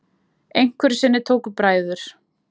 Einhverju sinni tóku bræður